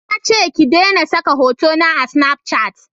Na ce ki dena saka hotuna a snafcat